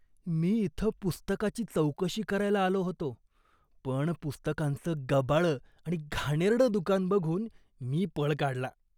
मी इथं पुस्तकाची चौकशी करायला आलो होतो पण पुस्तकांचं गबाळं आणि घाणेरडं दुकान बघून मी पळ काढला.